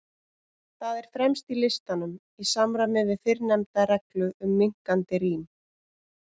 Það er fremst í listanum, í samræmi við fyrrnefnda reglu um minnkandi rím.